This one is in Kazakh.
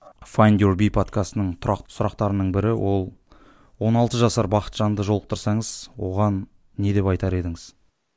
файндюрби подкастының тұрақты сұрақтарының бірі ол он алты жасар бақытжанды жолықтырсаңыз оған не деп айтар едіңіз